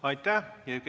Aitäh!